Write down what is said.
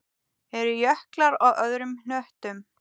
Eru jöklar á öðrum hnöttum?